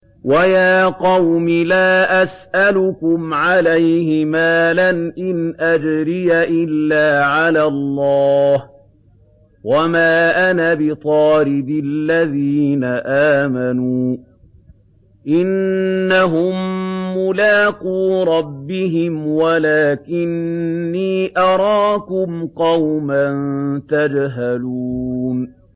وَيَا قَوْمِ لَا أَسْأَلُكُمْ عَلَيْهِ مَالًا ۖ إِنْ أَجْرِيَ إِلَّا عَلَى اللَّهِ ۚ وَمَا أَنَا بِطَارِدِ الَّذِينَ آمَنُوا ۚ إِنَّهُم مُّلَاقُو رَبِّهِمْ وَلَٰكِنِّي أَرَاكُمْ قَوْمًا تَجْهَلُونَ